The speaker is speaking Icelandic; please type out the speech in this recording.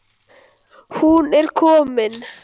Hún er komin,